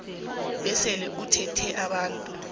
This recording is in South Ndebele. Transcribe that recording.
besele uthinte abantu